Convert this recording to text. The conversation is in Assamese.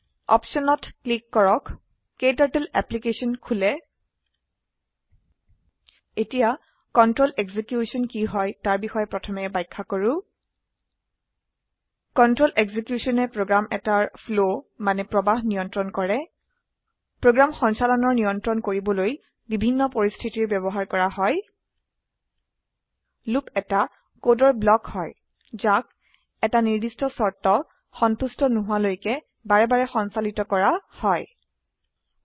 অপছন ত ক্লীক কৰক ক্টাৰ্টল এপলিকেছন খোলে এতিয়া কন্ট্ৰল এক্সিকিউশ্যন কি হয় তাৰ বিষয়ে প্ৰথমে ব্যাখ্যা কৰো কন্ট্ৰল executionয়ে প্ৰগ্ৰাম এটাৰ ফ্লো মানে প্ৰবাহ নিয়ণ্ত্ৰন কৰে প্ৰোগ্ৰাম সঞ্চালনৰ নিয়ণ্ত্ৰন কৰিবলৈ বিভিন্ন পৰিস্থিতিৰ ব্যবহাৰ কৰা হয় লুপ এটা কোডৰ ব্লক হয় যাক এটা নিৰ্দিষ্ট শৰ্ত সন্তুষ্ট নোহোৱালৈকে বাৰেবাৰে সঞ্চালিত কৰা হয় এগ